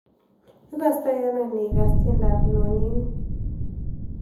Igostoiano inig'aas tiendoap nonini